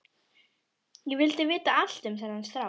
Ég vildi vita allt um þennan strák.